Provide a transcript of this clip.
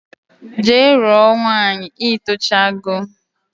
Jee ruo nwaanyi itocha go